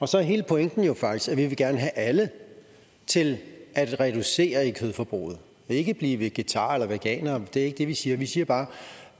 så hele pointen er jo faktisk at vi gerne vil have alle til at reducere i kødforbruget ikke blive vegetarer eller veganere det ikke det vi siger vi siger bare